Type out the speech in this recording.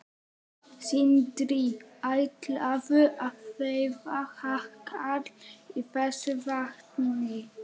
Sindri: Ætlarðu að veiða hákarl í þessu vatni?